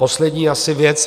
Poslední asi věc.